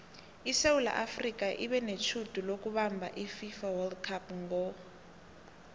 isewula afrika ibenetjhudu lokubamab ififa wold cup ngo